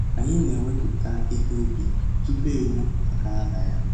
Anyị na-ewepụta ihe ubi tupu ewu a gaa na ya.